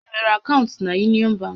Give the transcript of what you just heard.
Ị nwere akaụntụ na Yunịọn bankị?